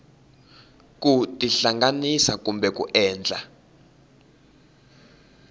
ku tihlanganisa kumbe ku endla